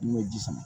N'i y'o ji sama